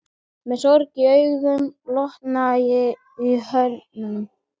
Með sorg í augum og lotna í herðum.